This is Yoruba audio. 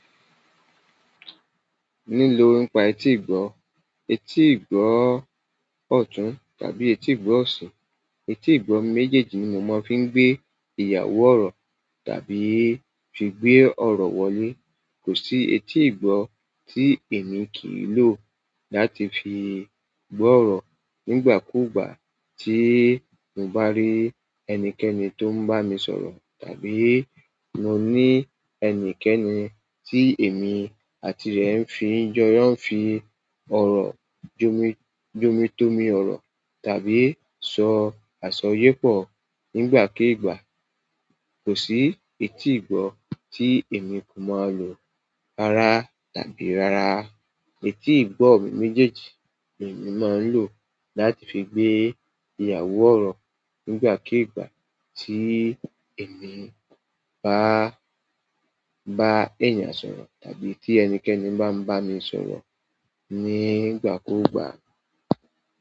Nílò nípa etí ìgbọ́, etí ìgbọ́ ọ̀tún tàbí etí ìgbọ́ ọ̀sí, etí ìgbọ́ mi méjèèjì ni mo máa ń fi gbé ìyàwó ọ̀rọ̀ tàbí fi gbé ọ̀rọ̀ wọlé. Kò sí etí ìgbọ́ tí èmi kì í lò láti fi gbọ́ ọ̀rọ̀ nígbà kúùgbà tí mo bá rí ẹnikẹ́ni tó ń bá mi sọ̀rọ̀ tàbí mo ní ẹnikẹ́ni tí èmi àti rẹ̀ ń fi ń jọ́, ń fi ọ̀rọ̀ jomi tómi ọrọ tàbí sọ aṣọ yé pọ nígbà k'igba. Kò sí etí ìgbọ́ tí èmi kò ma lò rárá tàbí rárá. Etí ìgbọ́ mi méjèèjì yìí ni mo máa ń lò láti fi gbé ìyàwó ọ̀rọ̀ nígbàkíìgbà tí èmi bá, bá èèyàn sọ̀rọ̀ tàbí tí ẹnikẹ́ni bá ń bá mi sọ̀rọ̀ nígbà kúùgbà.